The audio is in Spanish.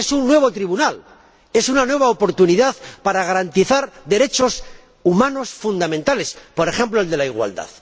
Es un nuevo tribunal, es una nueva oportunidad para garantizar derechos humanos fundamentales, por ejemplo, el de la igualdad.